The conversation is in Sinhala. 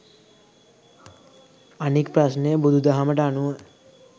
අනික් ප්‍රශ්නය බුදු දහමට අනුව